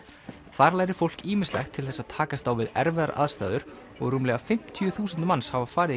þar lærir fólk ýmislegt til þess að takast á við erfiðar aðstæður og rúmlega fimmtíu þúsund manns hafa farið í